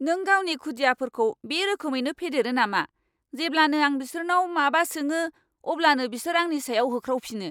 नों गावनि खुदियाफोरखौ बे रोखोमैनो फेदेरो नामा? जेब्लानो आं बिसोरनाव माबा सोङो अब्लानो बिसोर आंनि सायाव होख्रावफिनो।